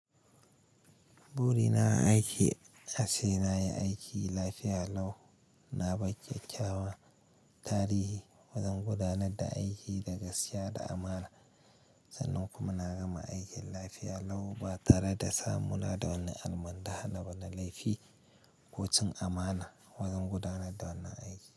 Buri na a aiki se aca nayi aiki lafiya lau na bar kyakyawan tarihi wajen gudanar da aiki da gaskiya da amana. Sannan kuma na gama aikin lafiya lau ba tare da samu na da wani almundahna ba na da laifi ko cin amana. Wajen gudanar da wannan aiki.